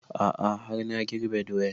A'a har na girbe doyan